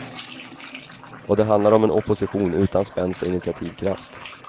Och det handlar om en opposition utan spänst och initiativkraft.